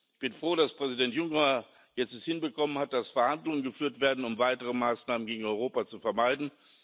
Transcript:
Ich bin froh, dass Präsident Juncker es jetzt hinbekommen hat, dass Verhandlungen geführt werden, um weitere Maßnahmen gegen Europa zu vermeiden.